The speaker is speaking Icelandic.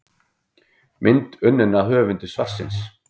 Mynd unnin af höfundi svarsins.